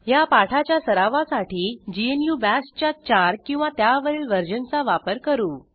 ह्या पाठाच्या सरावासाठी ग्नू बाश च्या 4 किंवा त्यावरील वर्जनचा वापर करू